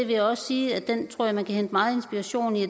vil også sige at den tror jeg man kan hente meget inspiration i